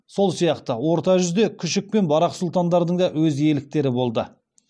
сол сияқты орта жүзде күшік пен барақ сұлтандардың да өз иеліктері болды